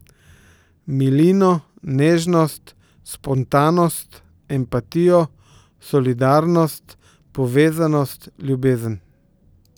Milino, nežnost, spontanost, empatijo, solidarnost, povezanost, ljubezen.